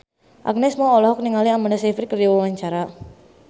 Agnes Mo olohok ningali Amanda Sayfried keur diwawancara